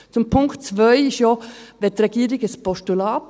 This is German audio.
Zum Punkt 2 sagt die Regierung Ja als Postulat.